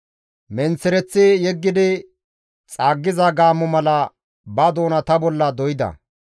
Menththereththi yeggidi xaaggiza gaammo mala ba doona ta bolla doyda.